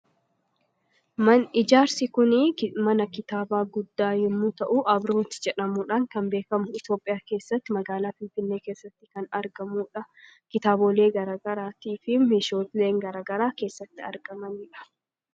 ijaarsi kunii mana kitaaba guddaa yommuu ta'u abrooti jedhamuudhaan kan beekamu itoophiyaa keessatti magaalaa finfinnee keessatti kan argamuudha. Kitaaboolee garagaraatii fi mesheeshaaleen garagaraa keessatti argamaniidha.